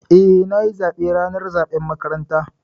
Eh, na yi zaɓe ranar zaɓen makaranta.